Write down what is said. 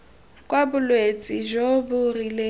kwa bolwetse jo bo rileng